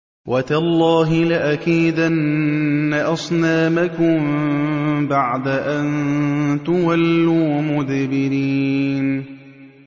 وَتَاللَّهِ لَأَكِيدَنَّ أَصْنَامَكُم بَعْدَ أَن تُوَلُّوا مُدْبِرِينَ